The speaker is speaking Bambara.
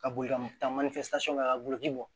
Ka boli ka taa kɛ ka bolodi bɔ